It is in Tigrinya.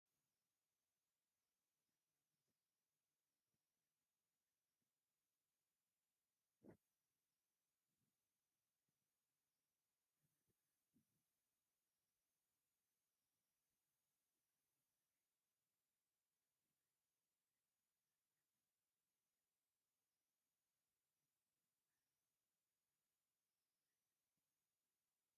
እዚ ጥንታዊ ቅርስ እንትከውን ኣብ ኢትዮጵያ ውሽጢ ዝርከብ እንትከውን ንመስሕብ ቱርዝም እውን ብዝሕ ዝበለ እቶት ከም ዝንህዎ እንትኩ ከብ ወፃኢ ዓዲ ሓበሻይኩኑ ናይ ወፃእ ሃገር ዝግብንዩ እንትኮኑ እዚ ኣበይያናይ ዓዲ ይርከብ?